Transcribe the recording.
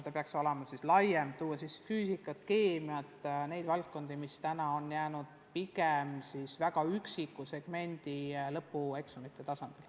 Tuleks laiemalt tuua sisse füüsikat, keemiat – neid valdkondi, mis seni on jäänud pigem väga väikese segmendi lõpueksamite tasandile.